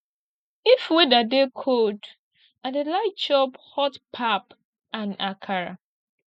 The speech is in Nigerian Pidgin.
if weather dey cold i dey like chop hot pap and akara